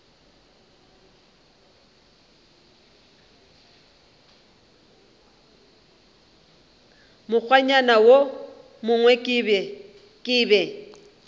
mokgwanyana wo mongwe ke be